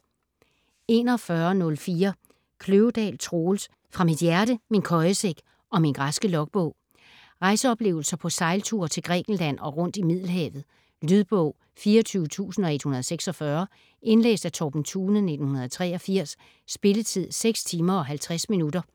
41.04 Kløvedal, Troels: Fra mit hjerte, min køjesæk og min græske logbog Rejseoplevelser på sejlture til Grækenland og rundt i Middelhavet. Lydbog 24146 Indlæst af Torben Thune, 1983. Spilletid: 6 timer, 50 minutter.